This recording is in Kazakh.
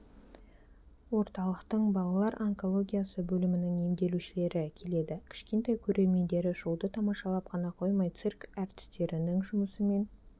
орталықтың балалар онкологиясы бөлімінің емделушілері келеді кішкентай көрермендері шоуды тамашалап қана қоймай цирк әртістерінің жұмысымен